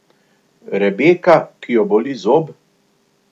Rebeka, ki jo boli zob?